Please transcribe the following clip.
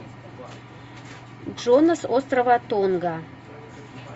джона с острова тонга